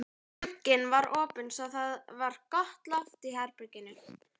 Glugginn var opinn svo það var gott loft í herberginu.